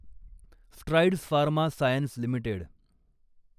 strides Pharma Science limited